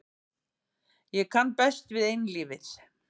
Ég kann best við einlífið.